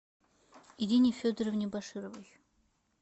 ирине федоровне башировой